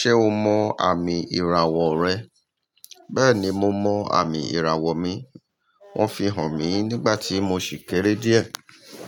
Ṣé o mọ àmì ìràwọ̀ rẹ? Bẹ́ẹ̀ni, mo mọ àmì ìràwọ̀ mi. Wọ́n fi hàn mí nígbà tí mo ṣì kéré díẹ̀.